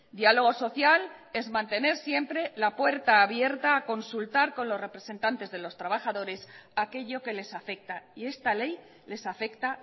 diálogo social es mantener siempre la puerta abierta consultar con los representantes de los trabajadores aquello que les afecta y esta ley les afecta